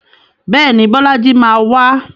Bẹ́ẹ̀ni, Bọ́lájí máa wá.